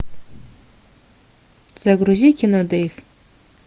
загрузи кино дейв